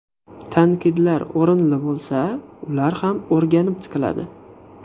Tanqidlar o‘rinli bo‘lsa, ular ham o‘rganib chiqiladi.